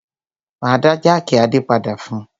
Máa dá jákì Adé padà fún un.